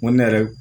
N ko ne yɛrɛ